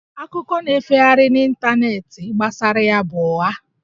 Akụkọ na-efegharị n'ịntanetị gbasara ya bụ ụgha